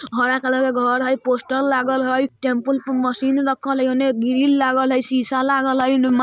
हरा कलर के घर हय पोस्टर लागल हय टेम्पुल पे मशीन रखल हय ओने ग्रिल लागल हय शीशा लागल हय ओने मा --